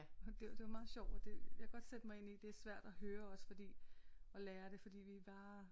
Og det var meget sjovt og det jeg kan godt sætte mig ind i at det er svært at høre også fordi og lære det fordi vi bare